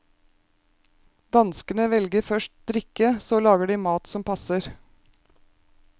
Danskene velger først drikke, så lager de mat som passer.